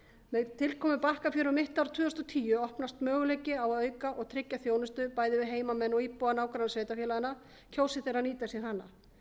með tilkomu bakkafjöru um mitt ár tvö þúsund og tíu opnast möguleiki á að auka og tryggja þjónustu bæði við heimamenn og íbúa nágrannasveitarfélaganna kjósi þeir að nýta sér hana